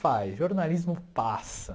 Vai, jornalismo passa.